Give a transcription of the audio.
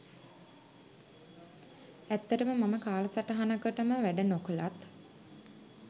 ඇත්තටම මම කාල සටහනකටම වැඩ නොකළත්